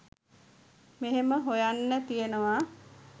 මෙහෙම හොයන්න තියෙනවා